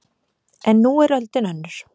En nú er öldin önnur